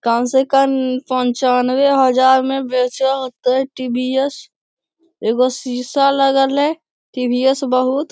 कम से कम पंचानवे हजार मे बेचय हेते टी.वी.एस. एगो सीसा लगल हेय टी.वी.एस. बहुत --